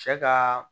Cɛ ka